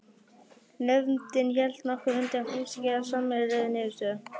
Nefndin hélt nokkra fundi en komst ekki að sameiginlegri niðurstöðu.